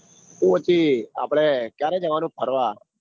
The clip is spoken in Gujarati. આપડે ક્યારે જવાનું ફરવા?